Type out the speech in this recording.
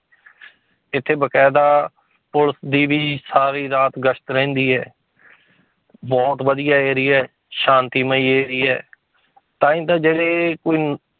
ਇੱਥੇ ਬਕਾਇਦਾ ਪੁਲਿਸ ਦੀ ਵੀ ਸਾਰੀ ਰਾਤ ਗਸ਼ਤ ਰਹਿੰਦੀ ਹੈ ਬਹੁਤ ਵਧੀਆ area ਹੈ ਸ਼ਾਂਤੀਮਈ area ਹੈ ਤਾਂਹੀ ਤਾਂ ਜਿਹੜੇ